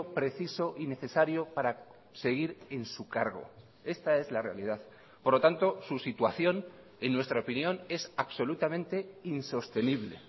preciso y necesario para seguir en su cargo esta es la realidad por lo tanto su situación en nuestra opinión es absolutamente insostenible